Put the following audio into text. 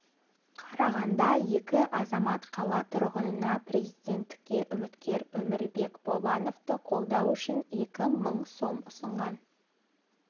қарағанда екі азамат қала тұрғынына президенттікке үміткер өмірбек бабановты қолдау үшін екі мың сом ұсынған